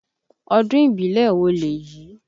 Ọdún ìbílè wo lèyí?